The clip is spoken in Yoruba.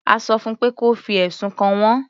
A sọ fún pé kí ó fi ẹ̀sùn kàn wọ́n.